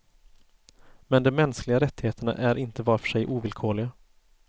Men de mänskliga rättigheterna är inte var för sig ovillkorliga.